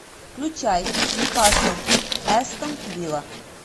включай ньюкасл астон вилла